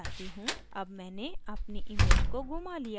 अब मैंने अपनी image को घुमा लिया है